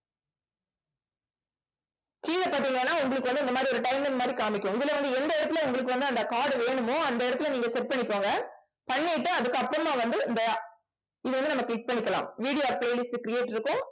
கீழே பார்த்தீங்கன்னா உங்களுக்கு வந்து இந்த மாதிரி ஒரு timing மாதிரி காமிக்கும். இதுல வந்து எந்த இடத்துல உங்களுக்கு வந்து அந்த card வேணுமோ அந்த இடத்துல நீங்க set பண்ணிக்கோங்க பண்ணிட்டு அதுக்கப்புறமா வந்து இந்த இது வந்து நம்ம click பண்ணிக்கலாம். video or playlist create இருக்கும்